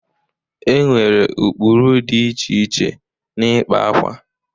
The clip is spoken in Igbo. E nwere ụkpụrụ dị iche iche n'ịkpa akwa.